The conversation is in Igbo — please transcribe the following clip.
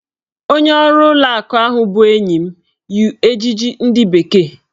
Onye ọrụ ụlọ akụ ahụ bụ enyi m yi ejiji ndị bekee.